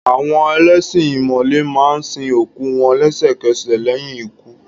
Àwọn ẹlẹ́ṣin ìmọ̀le máa ń sin òkú wọn lẹ́sẹ̀kẹsẹ̀ lẹ́yìn ikú.